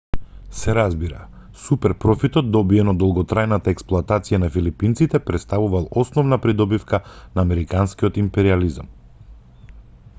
се разбира супер профитот добиен од долготрајната експлоатација на филипинците претставувал основна придобивка на американскиот империјализам